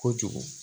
Kojugu